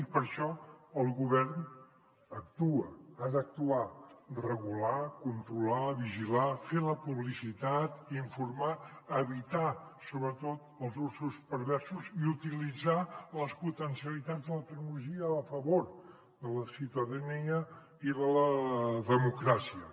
i per això el govern actua ha d’actuar regular controlar vigilar fer la publicitat informar evitar sobretot els usos perversos i utilitzar les potencialitats de la tecnologia a favor de la ciutadania i de la democràcia